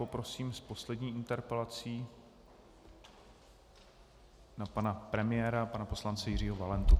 Poprosím s poslední interpelací na pana premiéra pana poslance Jiřího Valentu.